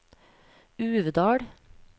Uvdal